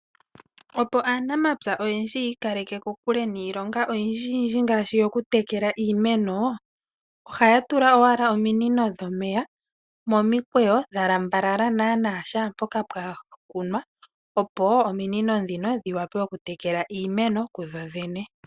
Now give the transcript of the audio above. Opo aanamapya oyendji ya ikaleke kokule niilonga oyindji ngaashi oku tekela iimeno, ohaya tula owala ominino dhomeya momikweyo dha lambalala mpoka pwa kunwa, opo ominino ndhino dhi wa pe oku tekela iimeno ku dho dhene.